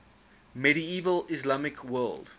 medieval islamic world